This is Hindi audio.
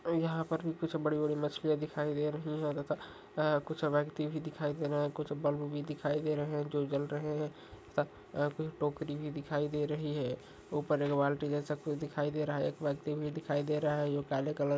और यहाँ पर भी कुछ बड़ी बड़ी मछलियां दिखाई दे रही हैं। अ कुछ व्यक्ति भी दिखाई दे रहे हैं। कुछ बल्ब भी दिखाई दे रहे हैं जो जल रहे हैं। सत और फिर टोकरी भी दिखाई दे रही है। ऊपर एक बाल्टी जैसा कुछ दिखाई दे रहा है। एक व्यक्ति भी दिखाई दे रहा है जो काले कलर --